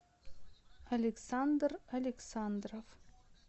александр александров